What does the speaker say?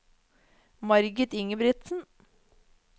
Marit Ingebrigtsen